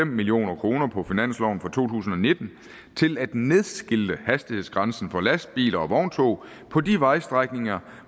million kroner på finansloven for to tusind og nitten til at nedskilte hastighedsgrænsen for lastbiler og vogntog på de vejstrækninger